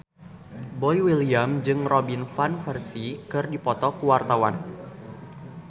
Boy William jeung Robin Van Persie keur dipoto ku wartawan